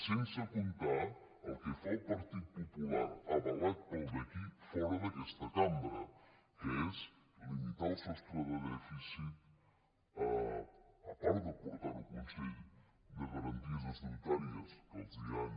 sense comptar el que fa el partit popular avalat pel d’aquí fora d’aquesta cambra que és limitar el sostre de dèficit a part de portar ho al consell de garanties estatutàries que els han